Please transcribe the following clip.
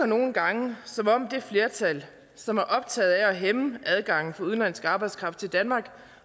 nogle gange som om det flertal som er optaget af at hæmme adgangen for udenlandsk arbejdskraft til danmark